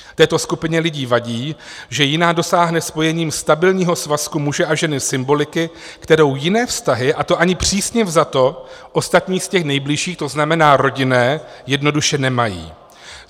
Této skupině lidí vadí, že jiná dosáhne spojením stabilního svazku muže a ženy symboliky, kterou jiné vztahy, a to ani přísně vzato, ostatní z těch nejbližších, to znamená rodinné, jednoduše nemají.